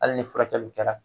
Hali ni furakɛliw kɛra.